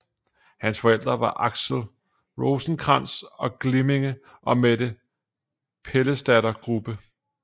Hans forældre var Axel Rosenkrantz til Glimminge og Mette Pallesdatter Grubbe